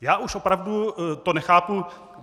Já už opravdu to nechápu.